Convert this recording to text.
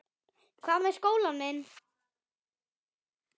Hvað með skólann minn?